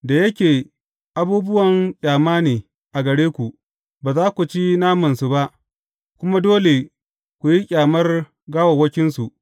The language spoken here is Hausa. Da yake abubuwan ƙyama ne a gare ku, ba za ku ci namansu ba, kuma dole ku yi ƙyamar gawawwakinsu.